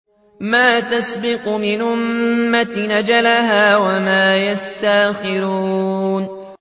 مَّا تَسْبِقُ مِنْ أُمَّةٍ أَجَلَهَا وَمَا يَسْتَأْخِرُونَ